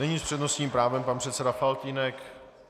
Nyní s přednostním právem pan předseda Faltýnek.